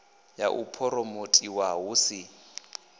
ya u phuromothiwa hu si